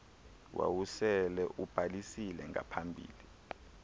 wawusele ubhalisile ngaphambili